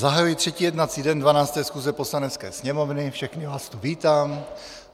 Zahajuji třetí jednací den 12. schůze Poslanecké sněmovny, všechny vás tu vítám.